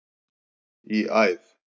í æð.